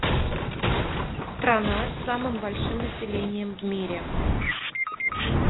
страна с самым большим населением в мире